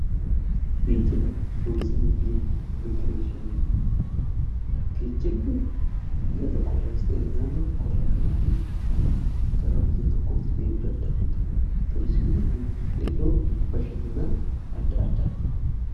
Geejjiba turizimii fi immigireeshinii, geejjibni biyya tokko irraa ykn naannoo tokko irraa kan itti gara biyya tokkoo deemuu danda'anidha. turizimiin immoo iddoo bashannanaa addaati.